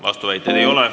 Vastuväiteid ei ole.